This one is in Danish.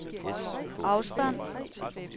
afstand